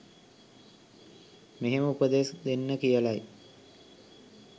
මෙහෙම උපදෙස් දෙන්න කියලයි.